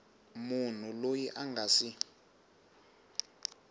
munhu loyi a nga si